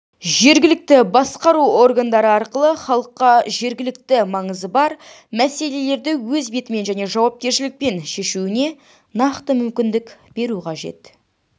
жергілікті басқару органдары арқылы халыққа жергілікті маңызы бар мәселелерді өз бетімен және жауапкершілікпен шешуіне нақты мүмкіндік беру керек